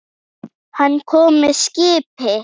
Hann kom með skipi.